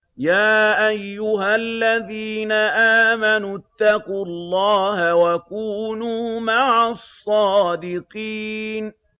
يَا أَيُّهَا الَّذِينَ آمَنُوا اتَّقُوا اللَّهَ وَكُونُوا مَعَ الصَّادِقِينَ